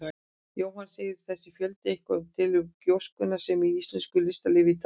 Jóhann: Segir þessi fjöldi eitthvað til um gróskuna sem er í íslensku listalífi í dag?